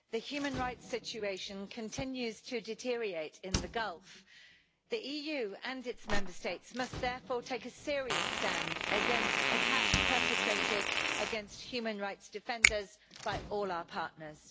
Mr President, the human rights situation continues to deteriorate in the Gulf. The EU and its Member States must therefore take a serious stand against attacks perpetrated against human rights defenders by all our partners.